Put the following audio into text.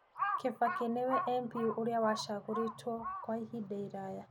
Kibaki nĩ MP ũrĩa ũcagũritwo kwa ihinda iraya.